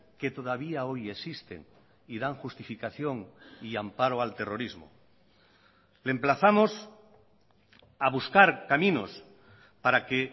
que todavía hoy existen y dan justificación y amparo al terrorismo le emplazamos a buscar caminos para que